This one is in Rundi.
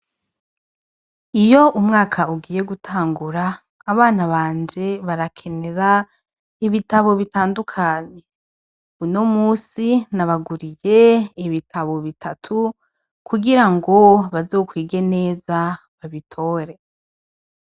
Iyo umwaka ugiye gutangura, abana banje barakenera ibitabo bitandukanye. Uno musi nabaguriye ibitabo bitatu kugira ngo bazokwige neza, babitore.